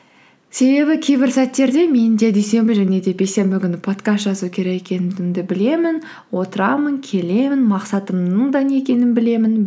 себебі кейбір сәттерде мен де дүйсенбі және де бейсенбі күні подкаст жазу керек екендігімді білемін отырамын келемін мақсатымның да не екенін білемін